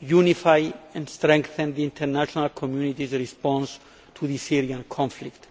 unify and strengthen the international community's response to the Syrian conflict.